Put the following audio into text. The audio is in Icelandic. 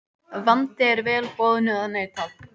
Vandi er vel boðnu að neita.